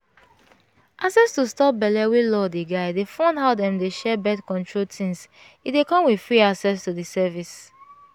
access to stop belle wey law dey guidedey fund how dem dey share birth-control things e dey come with free access to the service